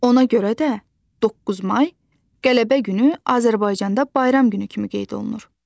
Ona görə də 9 may Qələbə günü Azərbaycanda bayram günü kimi qeyd olunur.